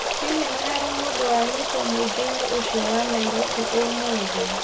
Hihi nĩ harĩ mũndũ wanyitwo mũingĩ-inĩ ũcio wa Nairobi ũmũthĩ